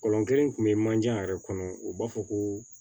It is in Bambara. kelen kun be manje yɛrɛ kɔnɔ u b'a fɔ ko